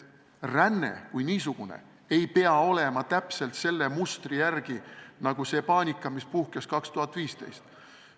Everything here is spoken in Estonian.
Ränne kui niisugune ei pea käima täpselt selle mustri järgi nagu see paanika, mis puhkes aastal 2015.